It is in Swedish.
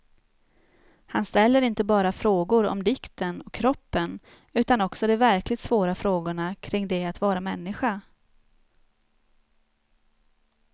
Han ställer inte bara frågor om dikten och kroppen utan också de verkligt svåra frågorna kring det att vara människa.